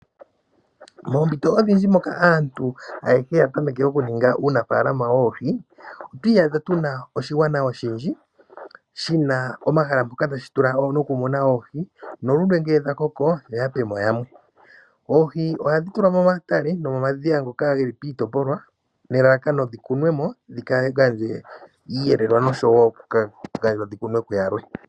Moompito odhindji moka aantu oyendji ya tameke okuninga uunafaalama woohi, otwi iyadha tuna oshigwana oshindji shina omahala mpoka tashi tula nokumuna oohi nongele dha koko yo yapemo yalwe. Oohi ohadhi tulwa momatale nomomadhiya ngoka geli piitopolwa nelalakano dhi kunwemo dhi kale tadhi eta iiyelelwa noshowo dhikunwe kuyalwe.